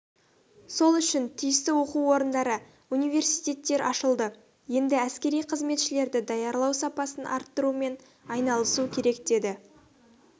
сол үшін тиісті оқу орындары университеттер ашылды енді әскери қызметшілерді даярлау сапасын арттырумен айналысу керек деді